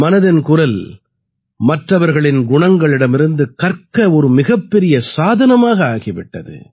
மனதின் குரல் மற்றவர்களின் குணங்களிடமிருந்து கற்க ஒரு மிகப் பெரிய சாதனமாக ஆகி விட்டது